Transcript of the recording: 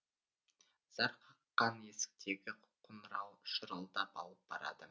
зар қаққан есіктегі қонырау шырылдап алып барады